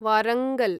Warangal